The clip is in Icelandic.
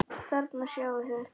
Þarna sjáið þið.